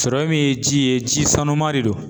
min ye ji ye ji sanuman de don